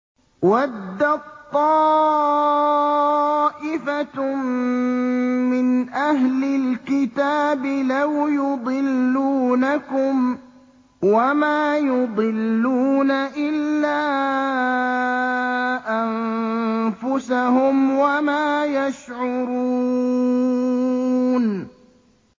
وَدَّت طَّائِفَةٌ مِّنْ أَهْلِ الْكِتَابِ لَوْ يُضِلُّونَكُمْ وَمَا يُضِلُّونَ إِلَّا أَنفُسَهُمْ وَمَا يَشْعُرُونَ